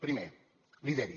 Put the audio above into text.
primer lideri